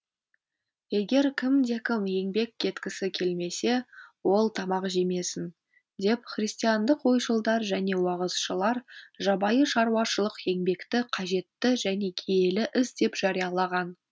егер кімде кім еңбек еткісі келмесе ол тамақ жемесін деп христиандық ойшылдар және уағызшылар жабайы шаруашылық еңбекті қажетті және киелі іс деп жариялаған